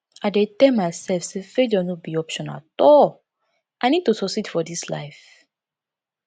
i dey tell myself say failure no be option at all i need to succeed for this life